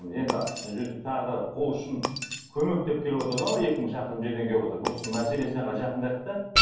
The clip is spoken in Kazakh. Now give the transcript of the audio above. енді бұл жерде тағы да қол ұшын көмек деп келіп отыр да анау екі мың шақырым жерден келіп отыр бұл кісінің мәселесіне қарай жақындайық та